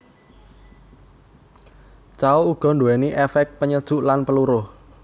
Cao uga nduwéni éfék penyejuk lan peluruh